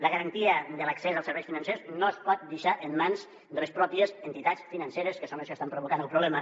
la garantia de l’accés als serveis financers no es pot deixar en mans de les pròpies entitats financeres que són les que estan provocant el problema